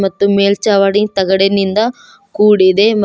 ಮತ್ತು ಮೇಲ್ಚಾವಡಿ ತಗಡಿನಿಂದ ಕೂಡಿದೆ ಮತ್--